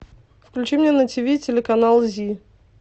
включи мне на тиви телеканал зи